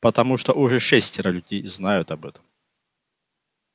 потому что уже шестеро людей знают об этом